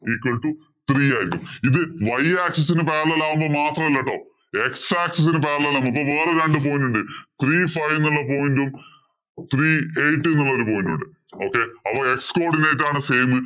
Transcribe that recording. equal to three ആയിരിക്കും ഇത് y axis ഇന് parallel ആകുമ്പോള്‍ മാത്രമല്ലേട്ടോ. x axis ഇന് parallel ആകുമ്പോ ഇപ്പം വേറെ രണ്ടു point ഉണ്ട്. Three five എന്നുള്ള point ഉം, three eight എന്ന് പറഞ്ഞ point ഉം ഉണ്ട്. Okay